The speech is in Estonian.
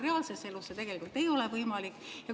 Reaalses elus see tegelikult võimalik ei ole.